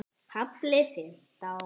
KAFLI FIMMTÁN